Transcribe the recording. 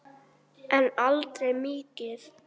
En aldrei mikið.